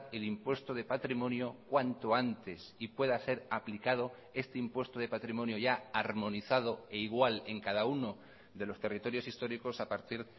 el impuesto de patrimonio cuanto antes y pueda ser aplicado este impuesto de patrimonio ya armonizado e igual en cada uno de los territorios históricos a partir